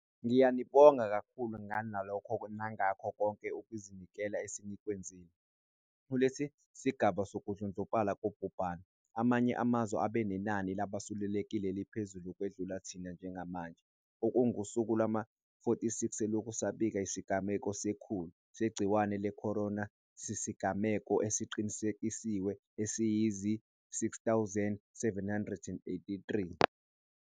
Ngiyanibonga kakhulu ngalokhu nangakho konke ukuzinikela esenikwenzile. Kulesi sigaba sokudlondlobala kobhubhane, amanye amazwe abe nenani labasulelekile eliphezulu ukwedlula thina. Njengamanje - okungusuku lwama-46 selokhu sabika isigameko se-100 segciwane le-corona - sesinezigameko eziqinisekisiwe eziyizi-6 783.